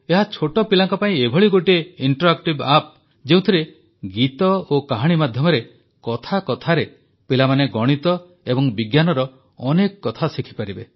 ଏହା ଛୋଟ ପିଲାଙ୍କ ପାଇଁ ଏଭଳି ଗୋଟିଏ ଇଂଟରଆକ୍ଟିଭ୍ ଆପ୍ ଯେଉଁଥିରେ ଗୀତ ଓ କାହାଣୀ ମାଧ୍ୟମରେ କଥା କଥାରେ ପିଲାମାନେ ଗଣିତ ଓ ବିଜ୍ଞାନର ଅନେକ କଥା ଶିଖିପାରିବେ